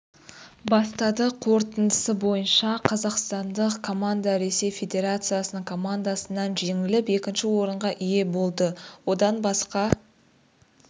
бастады қорытындысы бойынша қазақстандық команда ресей федерациясының командасынан жеңіліп екінші орынға ие болды одан басқа